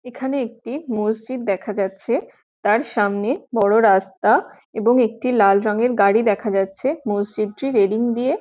এখানে একটি মসজিদ দেখা যাচ্ছে তার সামনে বোরো রাস্তা এবং একটি লাল রঙের গাড়ি দেখা যাচ্ছে মসজিদ টি রেলিং দিয়ে--